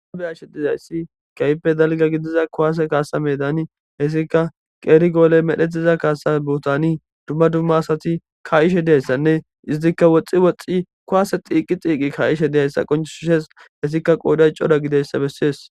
Be'ashe dizayissi kehippe dalgga giddiza kuwasse kasa meddani heysikka qeri golleyi medhdhetiza kasa bottani duma duma asati ka'ishshe dizayissanne izettika woxxi woxxi kuwase tiqi tiqi ka'ishe dizayissa qonccises ettikka qodayi Cora giddidayisa besses.